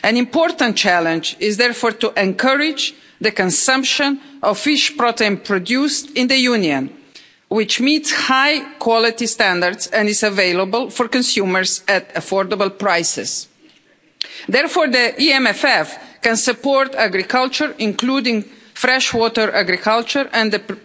An important challenge is therefore to encourage the consumption of fish protein produced in the Union, which meets high quality standards and is available for consumers at affordable prices. Therefore, the EMFF can support agriculture, including fresh water agriculture and